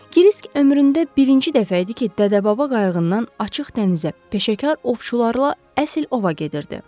Kresk ömründə birinci dəfə idi ki, dədə-baba qayıqından açıq dənizə peşəkar ovçularla əsl ova gedirdi.